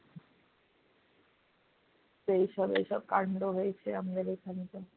তো এইসব এইসব কান্ড হয়েছে আমাদের এইখানে